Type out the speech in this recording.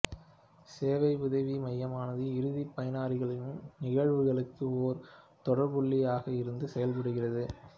சேவை உதவி மையமானது இறுதி பயனர்களின் நிகழ்வுகளுக்கு ஒரே தொடர்புபுள்ளியாக இருந்து செயல்படுகிறது